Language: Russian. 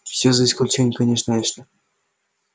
всё за исключением конечно эшли